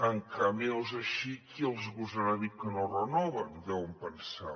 amb cameos així qui els gosarà dir que no renoven deuen pensar